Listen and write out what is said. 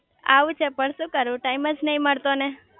આવું છે પણ શુ કરું ટાઈમ જ નાઈ મળતો ને